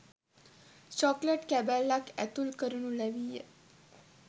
Chocolate කැබැල්ලක් ඇතුළු කරනු ලැබීය.